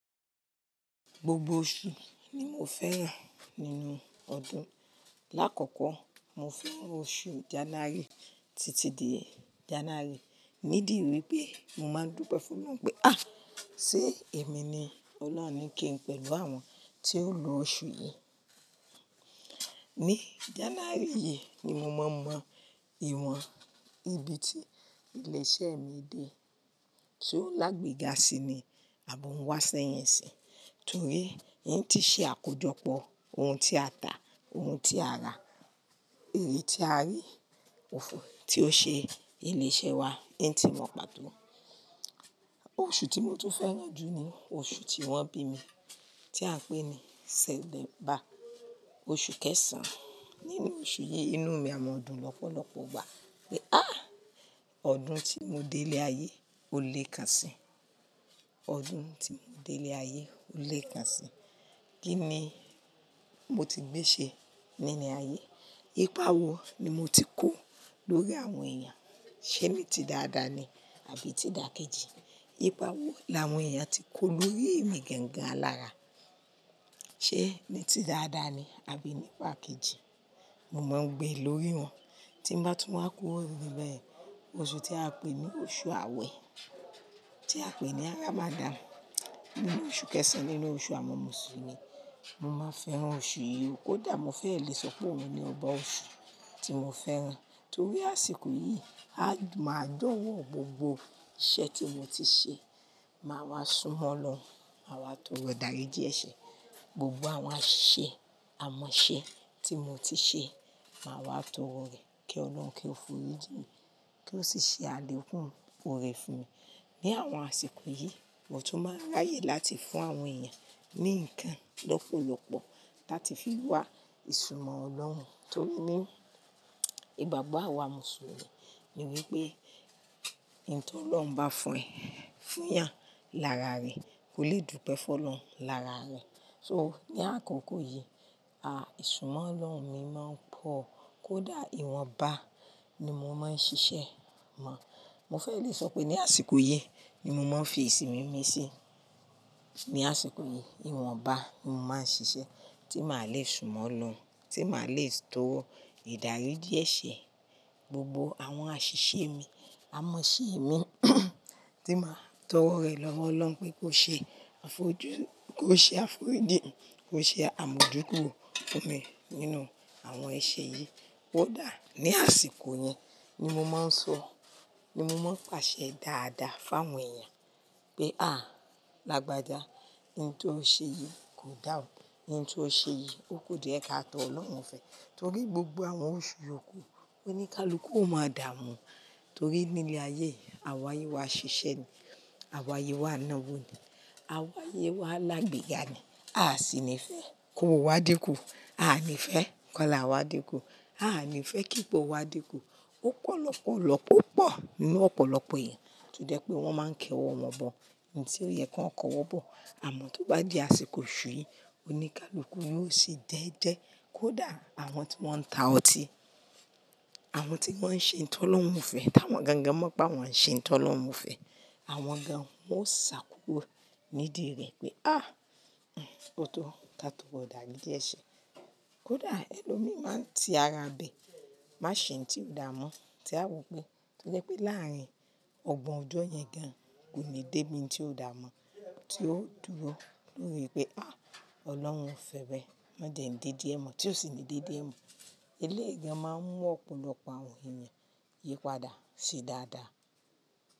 Gbogbo oṣù ni mo fẹ́ràn nínú ọdún. Láàkọ́kọ́, mo fẹ́ràn oṣù January. Títí di January, ni dì wípé mo máa dúpẹ́ fún Ọlọ́run pé "à, ṣé èmi ni Ọlọ́run ń kí pẹ̀lú àwọn tí ó lo oṣù yìí?" Ni January yìí ni mo máa mọ ìwọ̀n ibi tí ilẹ̀ ìṣe mi dé. So lágbéga si ni, àbọ̀ ń wá sẹ́yìn si, torí yín ti ṣe àkójọpọ̀ ohun tí a tà, ohun tí a rà, ère tí a rí, òfo tí ó ṣe ilẹ̀ ìṣe wa, yín ti mọ màtó. Oṣù tí mo tún fẹ́ràn jù ni oṣù tí wọ́n bí mi, tí à ń pè ní Sẹptember, oṣù kẹsàn-án. Nínú oṣù yìí, inú mi a mọ ọdún lọ́pọ̀lọpọ̀ gbá pé "á, ọdún tí mo dé ilẹ̀ ayé ó lé kan si. Ọdún tí mo dé ilẹ̀ ayé ó lé kan si. Kí ni mo ti gbé ṣe nínú ayé? Ípàwọ ni mo ti kó lórí àwọn èèyàn, ṣé ní ti dáadáa ni àbí ti dàkéjì? Ípàwọ làwọn èèyàn ti kó lórí mi gangan alára, ṣé ní ti dáadáa ni àbí ní pàkejì?" Mo máa ń gbe lórí wọn. Tí mo bá tún máa kó ìbẹ̀rẹ̀, oṣù tí a pè ní oṣù Awẹ, tí a pè ní Ramadan, nínú oṣù kẹsàn-án nínú oṣù àwọn Mùsùlùmí. Mo máa fẹ́ran oṣù yìí, kódà mo fẹ́ lè sọ pé òun ni ọba oṣù tí mo fẹ́ràn, torí àsìkò yìí a máa dánwò gbogbo iṣẹ́ tí mo ti ṣe, máa wá súnmọ́ Ọlọ́run, máa wá tọrọ ìdáríji ese. Gbogbo àwọn àṣìṣe, aimọ̀ṣẹ ti mo ti ṣe máa wá tọrọ rẹ̀ kí Ọlọ́run kí ó forí jimi, kí ó sì ṣe àlèkún òrè fún mi. Ni àwọn àsìkò yìí, mo tún máa ráyè láti fún àwọn èèyàn ní nǹkan lọ́pọ̀lọpọ̀ láti fi wá ìsúnmọ́ Ọlọ́run, torí ní ìgbàgbọ́ àwa Mùsùlùmí ni wípé ohun tí Ọlọ́run bá fún ẹ, fún ìyàn lára rẹ, kò lè dúpẹ́ fún Ọlọ́run lára rẹ. So ní àkókò yìí, à, ìsúnmọ́ Ọlọ́run mi máa ń pọ̀, kódà ìwọ̀nba ni mo máa ń ṣiṣẹ́ mọ. Mo fẹ́ lè sọ pé ní àsìkò yìí ni mo máa ń fi ìsìn mí mí sí. Ni àsìkò yìí, ìwọ̀nba ni mo máa ń ṣiṣẹ́ tí màá le súnmọ́ Ọlọ́run, tí màá le tọrọ ìdáríji eṣe gbogbo àwọn àṣìṣe mi, aimọ̀ṣẹ mi, tí màá tọrọ rẹ̀ lọ́wọ́ Ọlọ́run pé kó ṣe àfojúnu kó ṣe àforíji, kó ṣe àimójúkúro fún mi nínú àwọn ẹṣẹ yìí. Kódà ní àsìkò yẹn ni mo máa ń sọ, ni mo máa ń pàṣẹ dáadáa fún àwọn èèyàn pé "à, làgbàjá, ohun tí o ṣe yìí kò dá ọ̀, ohun tí o ṣe yìí ó kò dùn ẹ káàtọ̀ Ọlọ́run o fẹ́." Torí gbogbo àwọn oṣù yi oku, oníkálukú ó máa dààmú, torí nílé ayé, àwa ayé wá ṣiṣẹ́ ni, àwa ayé wá náwó ni, àwa ayé wá lágbéga ni. A sì ní fẹ́ ki owo wa dikù, a ní fẹ́ ki ola wá dikù, a ní fẹ́ kí pọ wá dikù. Ó pọ̀ lọ́pọ̀ lọ́pọ̀pọ̀ nínú ọ̀pọ̀lọpọ̀ èèyàn tó jẹ́ pé wọ́n máa ń kéwọ́ wọn bọ̀ ní ohun tí ó yẹ kí wọ́n kọ́wọ́ bọ̀. Àmọ́ tó bá di àsìkò oṣù yìí, oníkálukú yóò sì jẹ́ẹ́jẹ́, kódà àwọn tí wọ́n ń ta ọtí, àwọn tí wọ́n ń ṣe ohun tí Ọlọ́run ò fẹ́, tí àwọn gangan mọ̀ pé wọ́n ń ṣe ohun tí Ọlọ́run ò fẹ́, àwọn gan-an ó sá kúrò nídi rẹ̀ pé "á, òótọ́, kí a tó ro idariji ẹ̀ṣẹ̀." Kódà ẹlòmí màn tí ara bẹ̀, má ṣe ohun tí ó dààmọ́, tí a wò pé ó jẹ́ pé láàárín ọgbọ̀n ọjọ́ yẹn gan-an kò ní dé bí ohun tí ó dààmọ́, tí ó dúró nítorí pé "à, Ọlọ́run fẹ́beẹ́, má jẹ n de di ẹ̀ mọ́." Tí ó sì ń de di ẹ̀ mọ́, eléèyii gan-an máa ń mú ọ̀pọ̀lọpọ̀ àwọn èèyàn yípadà ṣi dáadáa.